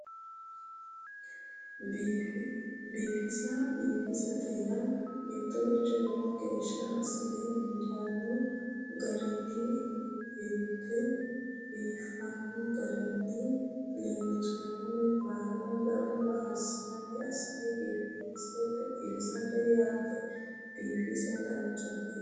Biifisa biifisate yaa mittoricho lowo geeshsha assine injaanno garinni illete biifanno garinni leellannore baala gamba assine biifisate yaate biifisa danchate